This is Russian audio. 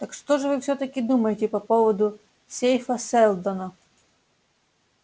так что же вы всё-таки думаете по поводу сейфа сэлдона